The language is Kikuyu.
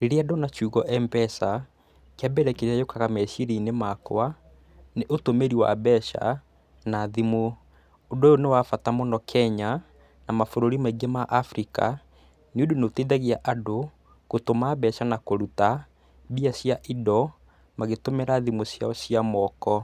Rĩrĩa ndona kiugo M-pesa, kĩa mbere kĩrĩa gĩũkaga meciria-inĩ makwa, nĩ ũtũmĩri wa mbeca na thimũ. Ũndũ ũyũ nĩ wa bata mũno Kenya, na mabũrũri maingĩ ma Africa, nĩ ũndũ nĩ ũteithagia andũ, gũtũma mbeca na kũruta mbia cia indo, magĩtũmĩra thimũ ciao cia moko.